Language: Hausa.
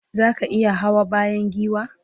zaka iya Hawa bayan giwa?